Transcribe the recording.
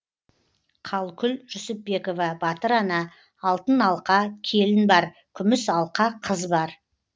қалкүл жүсіпбекова батыр ана алтын алқа келін бар күміс алқа қыз бар